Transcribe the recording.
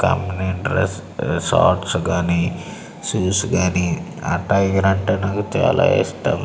Company interest shots కానీ shoes గాని ఆ టైగర్ అంటే నాకు చాలా ఇష్టం.